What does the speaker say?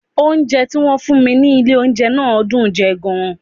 Oúnjẹ tí wọ́n fún mi ní ilé oúnjẹ náà dùn ún jẹ gan-an